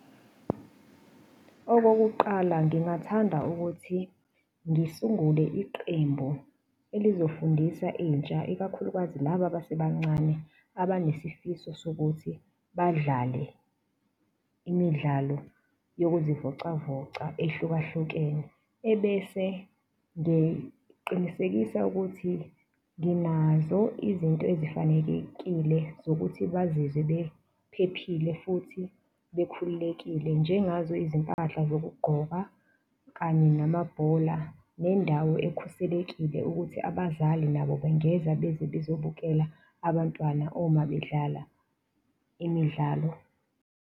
Okokuqala ngingathanda ukuthi ngisungule iqembu elizofundisa intsha, ikakhulukazi laba abasebancane abanesifiso sokuthi badlale imidlalo yokuzivocavoca ehlukahlukene. Ebese ngiqinisekisa ukuthi nginazo izinto ezifanekekile zokuthi bazizwe bephephile futhi bekhululekile njengazo izimpahla zokugqoka kanye namabhola, nendawo ekhuselekile ukuthi abazali nabo bengeza beze bezobukela abantwana uma bedlala imidlalo.